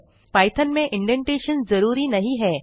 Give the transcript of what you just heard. Python में indentation जरूरी नहीं है